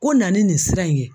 Ko na ni nin sira in ye.